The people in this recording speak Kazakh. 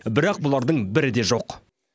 бірақ бұлардың бірі де жоқ